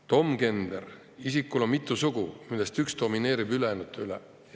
Domgender – isikul on mitu sugu, millest üks domineerib ülejäänute üle.